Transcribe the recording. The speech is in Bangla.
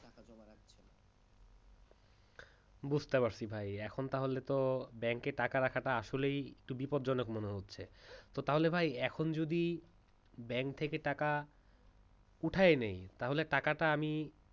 বুঝতে পারছি ভাই এখন তাহলে তো bank টাকা রাখাটা তো আসলেই বিপদজনক মনে হচ্ছে তাহলে ভাই এখন যদি bank থেকে টাকা ওঠায়নি তাহলে টাকাটা আমি